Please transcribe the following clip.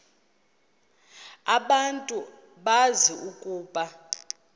abantu bazi ukuba